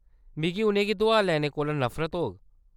मिगी उʼनें गी दुआर लैने कोला नफरत होग।